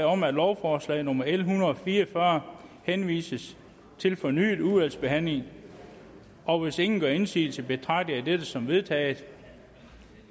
om at lovforslag nummer l en hundrede og fire og fyrre henvises til fornyet udvalgsbehandling og hvis ingen gør indsigelse betragter jeg dette som vedtaget